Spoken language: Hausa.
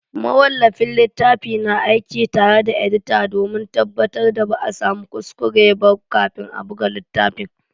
Mawallafin littafi na aiki tare da edita domin tabbatar da ba a samu kuskure ba kafin a buga littafin.